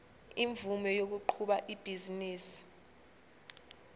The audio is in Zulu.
imvume yokuqhuba ibhizinisi